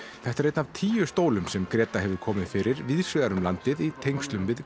þetta er einn af tíu stólum sem Gréta Kristín hefur komið fyrir víða um land í tengslum við